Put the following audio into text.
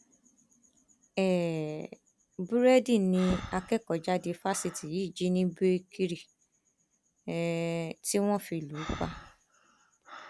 um búrẹdì ni akẹkọọjáde fásitì yìí jí ní bèkiri um tí wọn fi lù ú pa